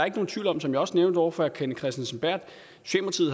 ikke nogen tvivl om som jeg også nævnte over for herre kenneth kristensen berth